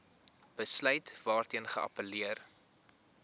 besluit waarteen geappelleer